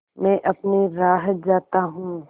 मैं अपनी राह जाता हूँ